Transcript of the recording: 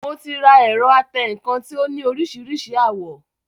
Mo ti ra ẹ̀rọ atẹǹkan tí ó ní oríṣiríṣi àwọ̀